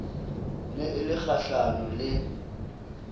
ne e le kgahlano le